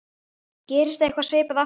Gerist eitthvað svipað aftur?